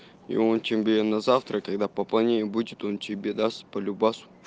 и он чемпион на завтра когда пополнение будет он тебе даст по любасу